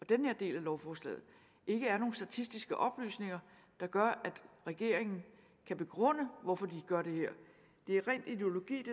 den her del af lovforslaget ikke er nogen statistiske oplysninger der gør at regeringen kan begrunde hvorfor de gør det her det er ren ideologi